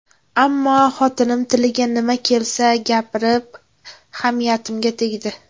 Ammo xotinim tiliga nima kelsa gapirib, hamiyatimga tegdi.